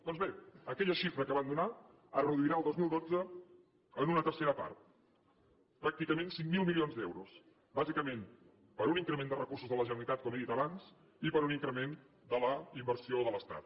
doncs bé aquella xifra que van donar es reduirà el dos mil dotze en una tercera part pràcticament cinc mil milions d’euros bàsicament per un increment de recursos de la generalitat com he dit abans i per un increment de la inversió de l’estat